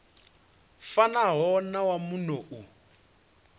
fanaho na wa muno u